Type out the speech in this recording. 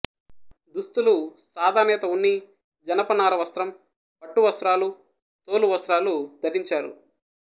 దుస్తులు సాదానేత ఉన్ని జనపనార వస్త్రం పట్టు వస్త్రాలు తోలు వస్త్రాలు ధరించారు